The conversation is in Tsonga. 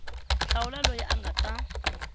hlawula loyi a nga ta